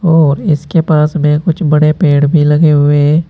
और इसके पास में कुछ बड़े पेड़ भी लगे हुए है।